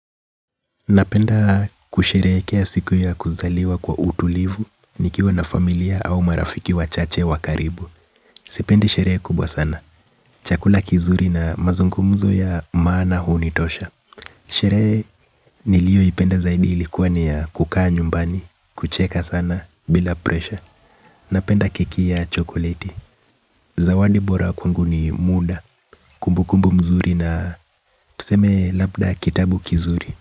Napenda kusherehekea siku ya kuzaliwa kwa utulivu, nikiwa na familia au marafiki wachache wa karibu sipendi sherehe kubwa sana, chakula kizuri na mazungumzo ya maana hunitosha. Sherehe nilioipenda zaidi ilikuwa ni ya kukaa nyumbani, kucheka sana, bila presha. Napenda keki ya chokoleti, zawadi bora kwangu ni muda, kumbukumbu nzuri na tuseme labda kitabu kizuri.